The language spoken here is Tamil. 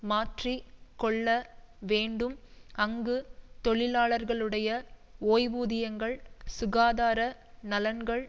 மாற்றி கொள்ள வேண்டும் அங்கு தொழிலாளர்களுடைய ஓய்வூதியங்கள் சுகாதார நலன்கள்